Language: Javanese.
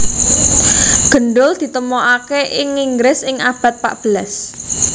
Gendul ditemokaké ing Inggris ing abad patbelas